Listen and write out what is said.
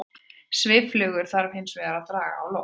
Svifflugur þarf hins vegar að draga á loft.